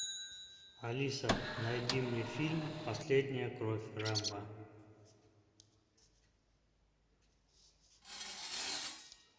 алиса найди мне фильм последняя кровь рэмбо